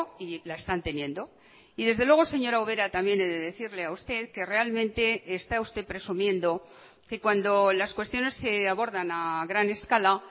y la están teniendo y desde luego señora ubera también he de decirle a usted que realmente está usted presumiendo que cuando las cuestiones se abordan a gran escala